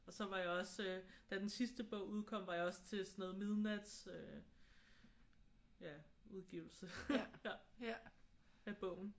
Og så var jeg også da den sidste bog udkom var jeg også til sådan noget midnats øh ja udgivelse af bogen